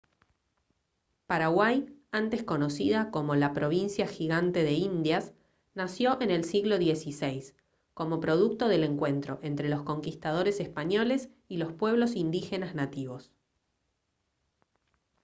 paraguay antes conocida como «la provincia gigante de indias» nació en el siglo xvi como producto del encuentro entre los conquistadores españoles y los pueblos indígenas nativos